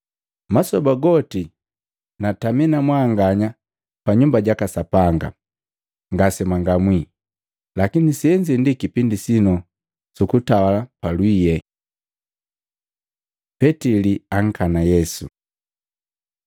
Masoba goti natami na mwanganya pa Nyumba jaka Sapanga, ngase mwangamwi. Lakini senze ndi kipindi sinu sukutawala palwiye.” Petili ankana Yesu Matei 26:57-58; Maluko 14:53-54, 66-72; Yohana 18:12-18, 25-27